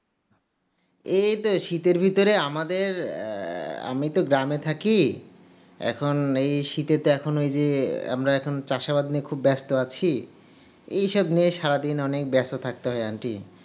এইতো শীতের মধ্যে আমাদের আমিতো গ্রামে থাকি, এখন এই শীতে এখন এই যে আমরা চাষবাস নিয়ে খুব ব্যস্ত আছি, এসব নিয়ে সারাদিন অনেক ব্যস্ত থাকতে হয় aunty